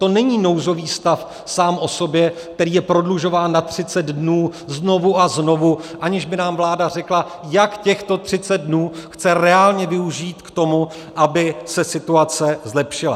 To není nouzový stav sám o sobě, který je prodlužován na 30 dnů znovu a znovu, aniž by nám vláda řekla, jak těchto 30 dnů chce reálně využít k tomu, aby se situace zlepšila.